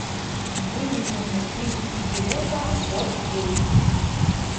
выведи мне три идиота фор кей